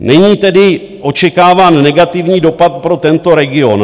Není tedy očekáván negativní dopad pro tento region.